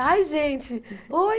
Ai, gente, oi!